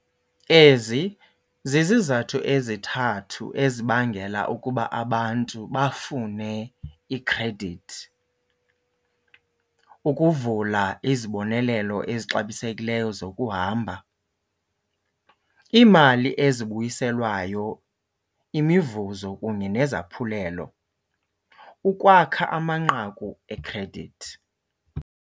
Ezi zizizathu ezithathu ezibangela ukuba abantu bafune ikhredithi. Ukuvula izibonelelo ezixabisekileyo zokuhamba, iimali ezibuyiselwayo, imivuzo kunye nesaphulelo, ukwakha amanqaku ekhredithi.